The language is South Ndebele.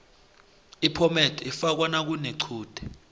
iphomede ifakwa nakunequde